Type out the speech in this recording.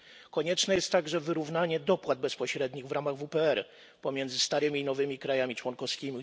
Konieczne jest także wyrównanie dopłat bezpośrednich w ramach WPR pomiędzy starymi i nowymi krajami członkowskimi.